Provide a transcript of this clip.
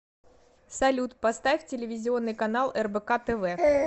салют поставь телевизионный канал рбк тв